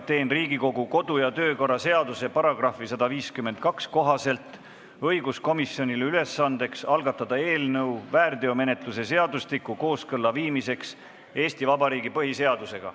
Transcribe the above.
Teen Riigikogu kodu- ja töökorra seaduse § 152 kohaselt õiguskomisjonile ülesandeks algatada eelnõu väärteomenetluse seadustiku kooskõlla viimiseks Eesti Vabariigi põhiseadusega.